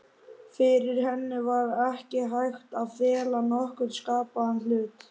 Fyrir henni var ekki hægt að fela nokkurn skapaðan hlut.